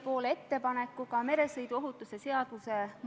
Muudatusettepanekuid esitatud ei ole.